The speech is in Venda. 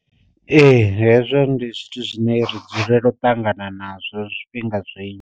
Ee hezwo ndi zwithu zwine ri dzulela u ṱangana nazwo zwifhinga zwinzhi.